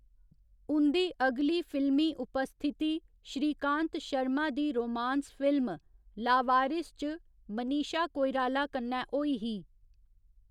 उं'दी अगली फिल्मी उपस्थिति श्रीकांत शर्मा दी रोमांस फिल्म लावारिस च मनीशा कोइराला कन्नै होई ही।